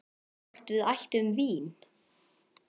Hvort við ættum vín?